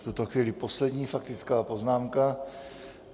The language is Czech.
V tuto chvíli poslední faktická poznámka.